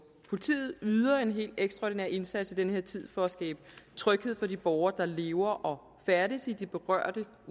politiet yder en helt ekstraordinær indsats i den her tid for at skabe tryghed for de borgere der lever og færdes i de berørte